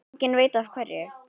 Enginn veit af hverju.